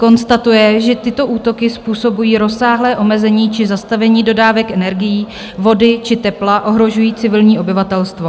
Konstatuje, že tyto útoky způsobují rozsáhlé omezení či zastavení dodávek energií, vody či tepla, ohrožují civilní obyvatelstvo.